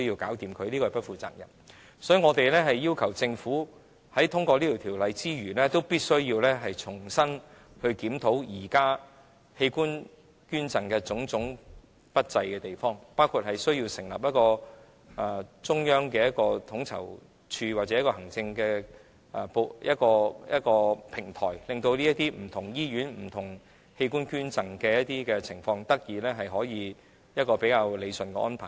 所以，我們要求政府在通過《條例草案》之餘，也必須重新檢討現時器官捐贈方面不濟的地方，包括需要成立一個中央統籌處或行政的平台，讓這些不同醫院、不同器官捐贈的情況得以理順。